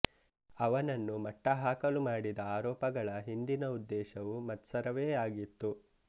ಅವನನ್ನು ಮಟ್ಟಹಾಕಲು ಮಾಡಿದ ಆರೋಪಗಳ ಹಿಂದಿನ ಉದ್ದೇಶವು ಮತ್ಸರವೇ ಆಗಿತ್ತು